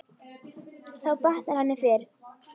Þá batnar henni fyrr.